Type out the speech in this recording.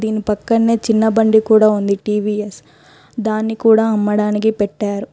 దీని పక్కన్నే చిన్న బండి కుడా ఉంది టీ_వీ_ఎస్ . దాన్ని కుడా అమ్మడానికి పెట్టారు.